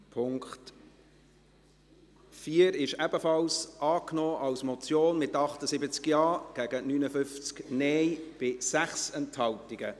Der Punkt 4 wurde ebenfalls als Motion angenommen, mit 78 Ja- zu 59 Nein-Stimmen bei 6 Enthaltungen.